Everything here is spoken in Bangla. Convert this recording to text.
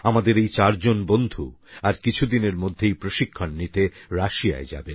আমাদের এই চারজন বন্ধু আর কিছুদিনের মধ্যেই প্রশিক্ষণ নিতে রাশিয়ায় যাবেন